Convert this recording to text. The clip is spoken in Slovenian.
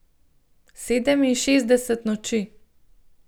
Sedeminšestdeset noči.